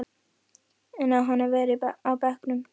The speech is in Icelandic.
En á hann að vera á bekknum?